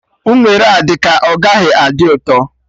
Unere a dị ka ọ gaghị adị ụtọ